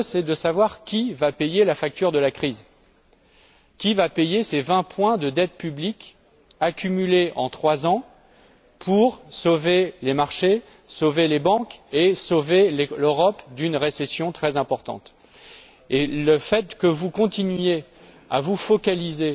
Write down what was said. L'enjeu est de savoir qui va payer la facture de la crise, qui va payer ces vingt points de dette publique, accumulés en trois ans, pour sauver les marchés, les banques et l'Europe d'une récession très importante. En continuant à vous focaliser